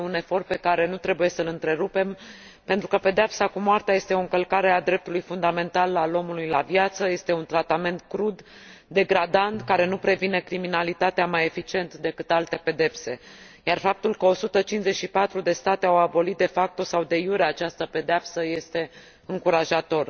Este un efort pe care nu trebuie să l întrerupem, pentru că pedeapsa cu moartea este o încălcare a dreptului fundamentul al omului la viață, este un tratament crud, degradant, care nu previne criminalitatea mai eficient decât alte pedepse, iar faptul că 154 de state au abolit sau această pedeapsă este încurajator.